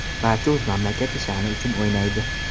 Barcha o‘z mamlakati sha’ni uchun o‘ynaydi.